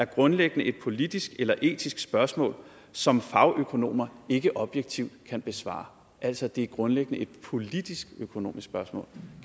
grundlæggende er et politisk eller etisk spørgsmål som fagøkonomer ikke objektivt kan besvare altså at det grundlæggende er et politisk økonomisk spørgsmål